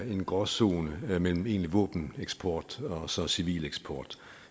en gråzone mellem egentlig våbeneksport og så civil eksport